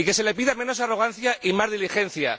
Y que se le pida menos arrogancia y más diligencia.